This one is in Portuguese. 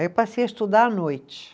Aí eu passei a estudar à noite.